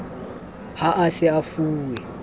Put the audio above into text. ha a sa e fuwe